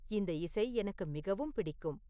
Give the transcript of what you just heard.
இந்த இசை எனக்கு மிகவும் பிடிக்கும்